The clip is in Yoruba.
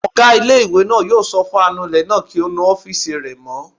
Ọgá ilé-ìwé náà yóò sọ fún anulẹ̀ náà kí ó nu ọ́fìsì rẹ̀ mọ́